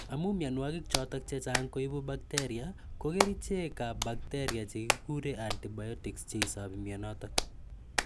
Amu mianwokik chotok che chang' koipu bakteria , ko kerichek ap bakteria chekikure antibiotics �che isapi mianotok.